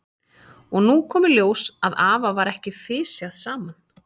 Og nú kom í ljós að afa var ekki fisjað saman.